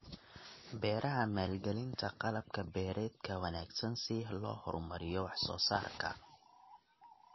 Beeraha Maalgelinta qalab beereedka wanaagsan si loo horumariyo wax soo saarka.